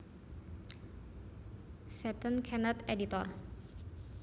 Setton Kenneth editor